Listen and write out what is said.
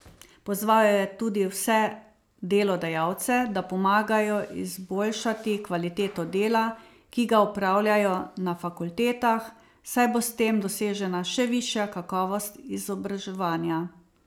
Pozval je tudi vse delodajalce, da pomagajo izboljšati kvaliteto dela, ki ga opravljajo na fakultetah, saj bo s tem dosežena še višja kakovost izobraževanja.